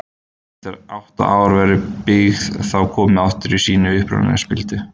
eftir átta ár verður byggið þá komið aftur í sína upprunalegu spildu